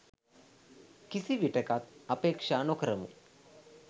කිසි විටෙකත් අපේක්ෂා නො කරමු.